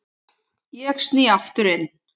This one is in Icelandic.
Ég sný aftur inn.